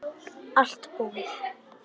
Allt búið